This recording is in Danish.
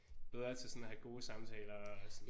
Bedre til sådan at have gode samtaler og sådan